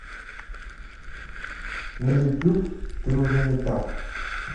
на ютюб ты уже не та